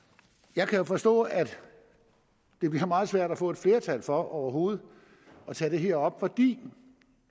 jeg kan jo forstå at det bliver meget svært at få et flertal for overhovedet at tage det her op fordi